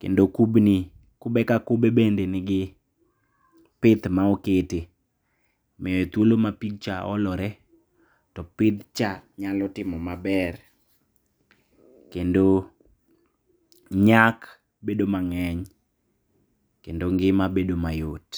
kendo kubni kube ka kube bende nigi pith maokete miye thuolo ma pigcha olore to pithcha nyalo timo maber kendo nyak bedo mang'eny kendo ngima bedo mayot.